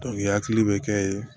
i hakili bɛ kɛ ye